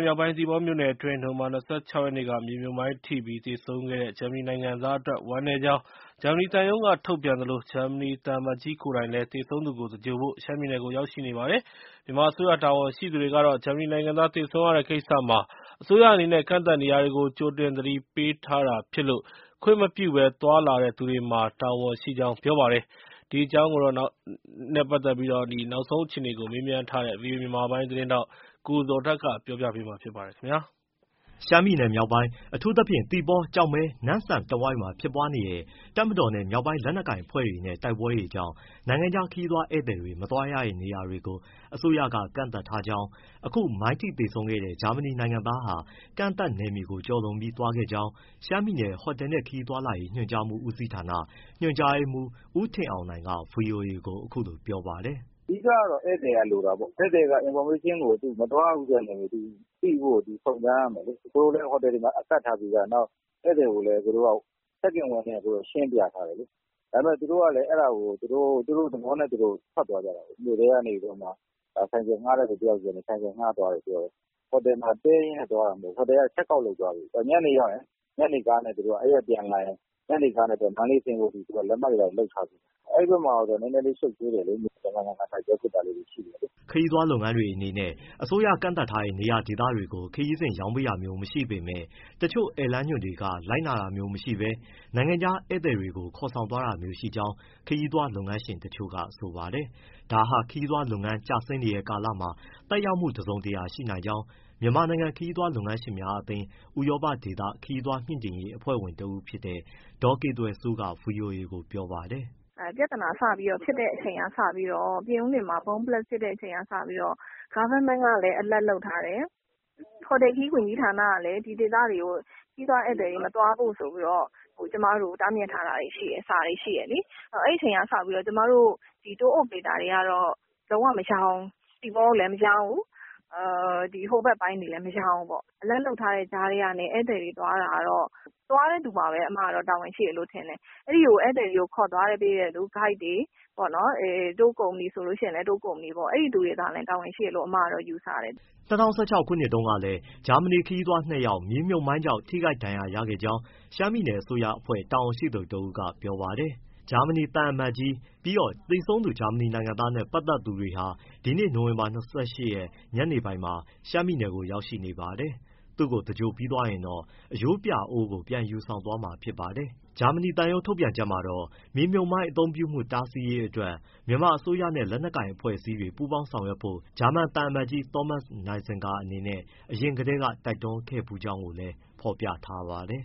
မြောက်ပိုင်း သီပေါမြို့နယ်အတွင်း နိုဝင်ဘာ ၂၆ ရက်က မြေမြှုပ်မိုင်းထိပြီး သေဆုံးခဲ့တဲ့ ဂျာမနီနိုင်ငံသားအတွက် ဝမ်းနည်းကြောင်း ဂျာမနီသံရုံးက ထုတ်ပြန်သလို ဂျာမနီသံအမတ်ကြီး ကိုယ်တိုင်လည်း သေဆုံးသူကို သင်္ဂြိုဟ်ဖို့ ရှမ်းပြည်နယ်ကို ရောက်ရှိနေပါတယ်။ မြန်မာအစိုးရ တာဝန်ရှိသူတွေကတော့ ဂျာမနီနိုင်ငံသား သေဆုံးရတဲ့ကိစ္စမှာ အစိုးရအနေနဲ့ ကန့်သတ်နေရာတွေကို ကြိုတင် သတိပေးထားတာဖြစ်လို့ ခွင့်မပြုဘဲ သွားလာတဲ့သူတွေမှာ တာဝန်ရှိကြောင်း ပြောပါတယ်။ ဒီအကြောင်း နောက်ဆုံးအခြေအနေကို မေးမြန်းထားတဲ့ ဗွီအိုအေ မြန်မာပိုင်းသတင်းထောက် ကိုဇော်ထက်က တင်ပြပေးထားပါတယ်။ ရှမ်းပြည်မြောက်ပိုင်း အထူးသဖြင့် သီပေါ၊ ကျောက်မဲ၊ နမ့်ဆန်တဝိုက်မှာ ဖြစ်ပွားနေတဲ့ တပ်မတော်နဲ့ မြောက်ပိုင်းလက်နက်ကိုင်အဖွဲ့တချို့နဲ့ တိုက်ပွဲတွေကြောင့် နိုင်ငံခြား ခရီးသွားဧည့်သည် မသွားရတဲ့ နေရာတွေကို အစိုးရက ကန့်သတ်ထားကြောင်း၊ အခု မိုင်းထိသေဆုံးခဲ့တဲ့ ဂျာမနီနိုင်ငံသားဟာ ကန့်သတ်နယ်နိမိတ်ကို ကျော်လွန်ပြီး သွားခဲ့ကြောင်း ရှမ်းပြည်နယ် ဟိုတယ်နှင့် ခရီးသွား ညွှန်ကြားမှုဦးစီးဌာန ညွှန်ကြားရေးမှူး ဦးထင်အောင်နိုင်က ဗွီအိုအေကို အခုလိုပြောပါတယ်။ “အဓိကတော့ ဧည့်သည်က လိုတာပေါ့။ သူ မသွားရဘူးဆိုတဲ့ နယ်မြေကို သူသိဖို့ စုံစမ်းရမယ်လေ။ ဟိုတယ်တွေမှာ ကပ်ထားပြီးသား။ ဧည့်သည်ကို check in ဝင်တယ်ဆို ရှင်းပြထားတယ်လေ။ ဒါပေမယ့်လည်း သူတို့ကလည်း အဲဒါကို သူတို့သဘောနဲ့သူတို့ ထွက်သွားကြတာလေ၊ မြို့ထဲကနေပြီးတော့မှ ဆိုင်ကယ်ငှားတဲ့သူ တယောက်ဆီကနေ ဆိုင်ကယ်ငှားသွားတယ် ပြောတယ်။ ဟိုတယ်ကနေ check out လုပ်သွားပြီးပြီ။ အဲဒီကပြန်လာရင် ညနေကားနဲ့ မန္တလေးဆင်းဖို့ သူတို့က လက်မှတ်တွေ လုပ်ထားပြီးပြီ။ အဲဒီဘက်မှာ နည်းနည်းလေး ရှုပ်ထွေးတယ်လေ။ ရံဖန်ရံခါ တိုက်ပွဲဖြစ်တာလေးတွေ ရှိတယ်။” ခရီးသွားလုပ်ငန်းတွေ အနေနဲ့ အစိုးရကန့်သတ်ထားတဲ့ နေရာဒေသတွေကို ခရီးစဉ်ရောင်းပေးတာမျိုး မရှိပေမယ့် တချို့ ဧည့်လမ်းညွှန်တွေက လိုက်နာတာမျိုးမရှိဘဲ နိုင်ငံခြားဧည့်သည်တွေကို ခေါ်ဆောင်သွားတာမျိုး ရှိကြောင်း ခရီးသွားလုပ်ငန်းရှင်တချို့က ဆိုပါတယ်။ ဒါက ခရီးသွားလုပ်ငန်း ကျဆင်းနေတဲ့ကာလမှာ သက်ရောက်မှု တစုံတရာ ရှိနိုင်ကြောင်း မြန်မာနိုင်ငံ ခရီးသွားလုပ်ငန်းရှင်များအသင်း၊ ဥရောပဒေသ ခရီးသွားမြှင့်တင်ရေး အဖွဲ့ဝင်ဖြစ်တဲ့ ဒေါ်ကေသွယ်စိုးက ဗွီအိုအေကို ပြောပါတယ်။ “ပြဿနာစပြီးဖြစ်တဲ့ အချိန်ကစပြီးတော့ ပြင်ဦးလွင်မှာ bomb blast စပြီးဖြစ်တဲ့ အချိန်ကစပြီးတော့ အစိုးရကလည်း alert လုပ်ထားတယ်၊ ဟိုတယ်ခရီး ဝန်ကြီးဌာနကလည်း ဒီဒေသတွေကို ခရီးသွားဧည့်သည်တွေ မသွားဖို့ဆိုပြီးတော့ ကျမတို့ကို တားမြစ်ထားတာတွေရှိတယ်။ အဲဒီအချိန်ကစပြီးတော့ ကျမတို့ Tour operator တွေကတော့ သီပေါကိုလည်း မရောင်းဘူး၊ ဟိုဘက်ပိုင်းတွေလည်း မရောင်းဘူးပေါ့။ alert လုပ်ထားတဲ့ကြားကနေ ဧည့်သည်တွေ သွားတာကတော့ သွားတဲ့သူမှာပဲ တာဝန်ရှိတယ်လို့ ထင်တယ်။ ခေါ်သွားပေးတဲ့ ဂိုက်တွေ၊ tour company ဆိုလည်း အဲဒီသူတွေမှာ တာဝန်ရှိတယ်လို့ ထင်တယ်။” ၂၀၁၆ ခုနှစ်တုန်းကလည်း ဂျာမနီ ခရီးသွား ၂ ယောက် မြေမြှုပ်မိုင်းကြောင့် ထိခိုက်ဒဏ်ရာ ရခဲ့ကြောင်း ရှမ်းပြည်နယ် အစိုးရအဖွဲ့ တာဝန်ရှိသူတဦးက ပြောပါတယ်။ ဂျာမနီသံအမတ်ကြီးနဲ့ သေဆုံးသူ ဂျာမနီနိုင်ငံသားနဲ့ ပတ်သက်သူတွေဟာ ဒီနေ့ နိုဝင်ဘာ ၂၈ ညနေပိုင်းမှာ ရှမ်းပြည်နယ်ကို ရောက်ရှိနေပါတယ်။ သူ့ကို သင်္ဂြိုဟ်ပြီးသွားရင်တော့ အရိုးပြာအိုးကို ပြန်ယူဆောင်သွားမှာ ဖြစ်ပါတယ်။ ဂျာမနီသံရုံး ထုတ်ပြန်ချက်မှာတော့ မြေမြှုပ်မိုင်း အသုံးပြုမှု တားဆီးရေးအတွက် မြန်မာအစိုးရနဲ့ လက်နက်ကိုင်အဖွဲ့အစည်းတွေ ပူးပေါင်းဆောင်ရွက်ဖို့ ဂျာမန်သံအမတ်ကြီး သောမတ်စ် နိုင်ဇင်ဂါအနေနဲ့ အရင်ကတည်းက တိုက်တွန်းထားခဲ့ဖူးကြောင်းကိုလည်း ဖော်ပြထားပါတယ်။